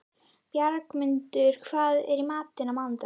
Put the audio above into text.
Bjargmundur, hvað er í matinn á mánudaginn?